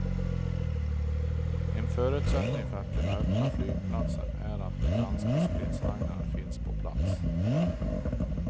En förutsättning för att kunna öppna flygplatsen är att de danska stridsvagnarna finns på plats.